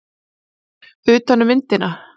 Utan um myndina.